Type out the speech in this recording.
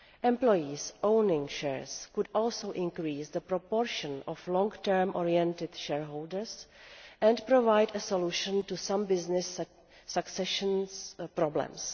Employees owning shares could also increase the proportion of long term oriented shareholders and provide a solution to some business succession problems.